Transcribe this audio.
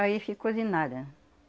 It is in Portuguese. Aí ficou de nada.